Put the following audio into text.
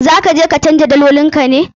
Za ka je ka canja dalolin ka ne?